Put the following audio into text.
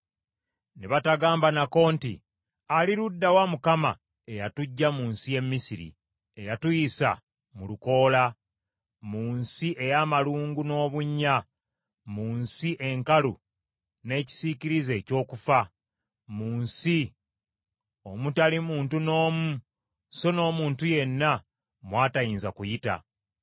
Ne batagamba nako nti; “Ali ludda wa Mukama eyatuggya mu nsi y’e Misiri; eyatuyisa mu lukoola, mu nsi ey’amalungu n’obunnya, mu nsi enkalu n’ekisiikirize eky’okufa, mu nsi omutali muntu n’omu, so n’omuntu yenna mw’atayinza kuyita?”